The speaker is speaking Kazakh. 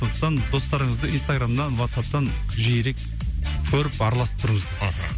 сондықтан достарыңызды инстаграмнан ватсаптан жиірек көріп араласып тұрыңыз мхм